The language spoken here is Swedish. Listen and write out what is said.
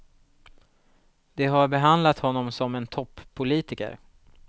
De har behandlat honom som en toppolitiker.